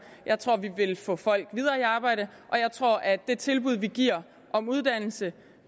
jeg tror at vi vil få folk videre i arbejde og jeg tror at det tilbud vi giver om uddannelse